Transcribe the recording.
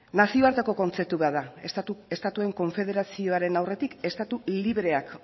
nazioarteko kontzeptu bat da estatuen konfederazioaren aurretik estatu libreak